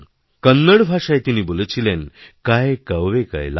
কন্নড় ভাষায় তিনিবলেছিলেন কায় কওয়ে কৈলাস